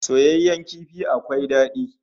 Soyayyen kifi akwai dadi